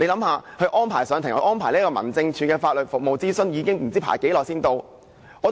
試想想，安排上庭、安排民政事務處的法律服務諮詢不知要輪候多久。